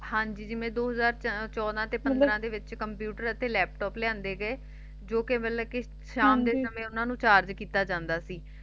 ਹਾਂ ਜੀ ਜਿਵੇਂ ਦੋ ਹਜ਼ਾਰ ਚੌਦਾਂ ਅਤੇ ਦੋ ਹਜ਼ਾਰ ਪੰਦਰਾਂ ਦੇ ਵਿਚ ਇਥੇ ਕੰਪਿਊਟਰ ਅਤੇ ਲੈਪਟੋਪ ਲਿਆਂਦੇ ਗਏ ਜੋ ਕਿ ਮਤਲਬ ਕਿ ਸ਼ਾਮ ਦੇ ਸਮੇਂ ਉਨ੍ਹਾਂ ਨੂੰ ਚਾਰਜ ਕੀਤਾ ਜਾਂਦਾ ਸੀ